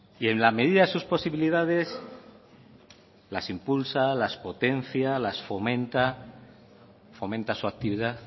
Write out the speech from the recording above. y en la medida de sus posibilidades las impulsa las potencia las fomenta fomenta su actividad